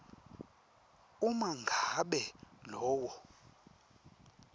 uma ngabe lowo